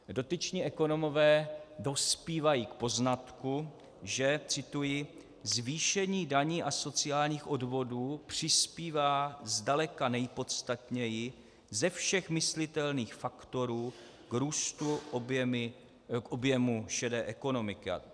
Dotyční ekonomové dospívají k poznatku, že - cituji: "Zvýšení daní a sociálních odvodů přispívá zdaleka nejpodstatněji ze všech myslitelných faktorů k růstu objemu šedé ekonomiky."